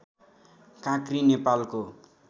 काँक्री नेपालको